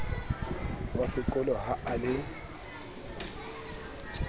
wa sekolo ha a le